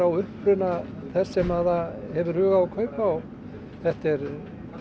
á uppruna þess sem það hefur hug á að kaupa og þetta er